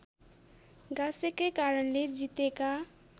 गाँसेकै कारणले जितेका